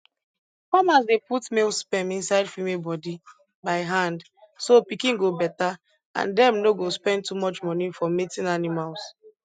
farmers dey put male sperm inside female body by hand so pikin go better and dem no go spend too much money for mating animals